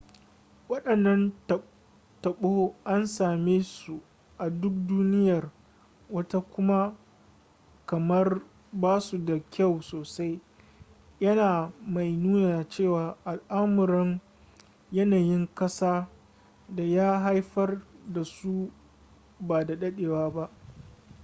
wadannan tabo an same su a duk duniyar wata kuma kamar ba su da kyau sosai yana mai nuna cewa al'amuran yanayin kasa da ya haifar da su ba da dadewa ba